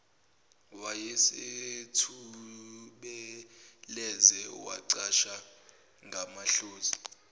wayesethubeleze wacasha ngamahlozi